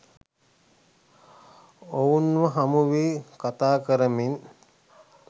ඔවුන්ව හමුවී කතාකරමින්